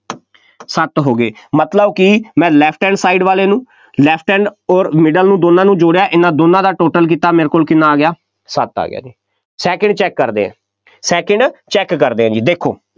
ਸੱਤ ਹੋ ਗਏ, ਮਤਲਬ ਕਿ ਮੈਂ left hand side ਵਾਲੇ ਨੂੰ left hand ਅੋਰ middle ਨੂੰ ਦੋਨਾਂ ਨੂੰ ਜੋੜਿਆ, ਇਹਨਾ ਦੋਨਾਂ ਦਾ total ਕੀਤਾ, ਤਾਂ ਮੇਰੇ ਕੋਲ ਕਿੰਨਾ ਆ ਗਿਆ, ਸੱਤ ਆ ਗਿਆ, second check ਕਰਦੇ ਹਾਂ, second check ਕਰਦੇ ਹਾਂ ਜੀ, ਦੇਖੋ,